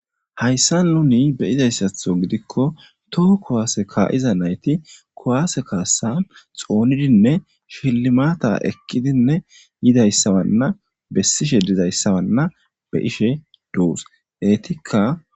Hayssa nuni beyizayssatho gidikko toho kowaase kaa'iza nayti kowaase kaassan xoonidinne fhilimata ekkidinne yidayssawanna bessishe dizayssawanna be ishe duus eetikka